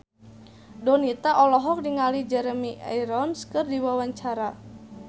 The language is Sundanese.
Donita olohok ningali Jeremy Irons keur diwawancara